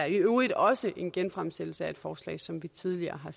i øvrigt også en genfremsættelse af et forslag som vi tidligere har